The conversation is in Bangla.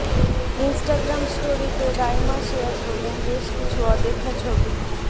ইনস্টাগ্রাম স্টোরিতে রাইমা শেয়ার করলেন বেশ কিছু অদেখা ছবি